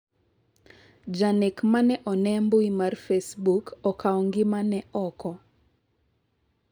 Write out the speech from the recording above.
janek mane one mbui mar Facebook okawo ngimane oko